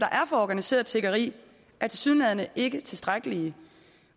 er for organiseret tiggeri er tilsyneladende ikke tilstrækkelige